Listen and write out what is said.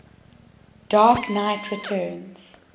dark knight returns